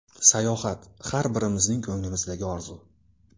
Sayohat – har birimizning ko‘nglimizdagi orzu.